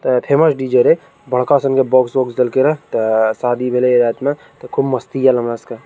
ते famous DJ. रहे बड़का सन के बॉक्स वोक्स देल के रहे ते शादी भे ले रात में ते खूब मस्ती आयल हमरा सबके।